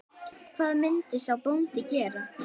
Hvað myndi sá bóndi gera?